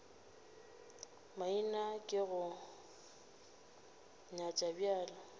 maina ke go nyat bjale